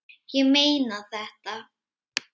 Ég meina þetta.